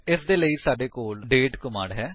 ਇਸਦੇ ਲਈ ਸਾਡੇ ਕੋਲ ਦਾਤੇ ਕਮਾਂਡ ਹੈ